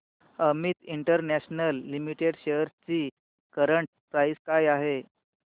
Amit international limited shares ची current price काय आहे